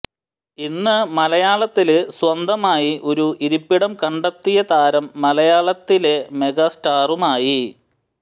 ഇന്ന് മലയാളത്തില് സ്വന്തമായി ഒരു ഇരിപ്പിടം കണ്ടെത്തിയ താരം മലയാളത്തിലെ മെഗാസ്റ്ററുമായി